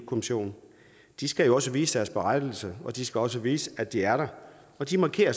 kommissionen de skal jo også vise deres berettigelse og de skal også vise at de er der og de markerer